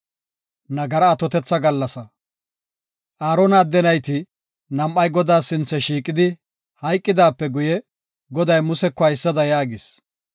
Aarona adde nayti nam7ay Godaa sinthe shiiqidi hayqidaape guye, Goday Museko haysada yaagis: